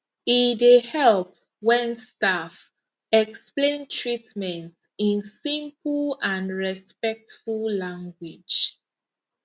e dey help when staff explain treatment in simple and respectful language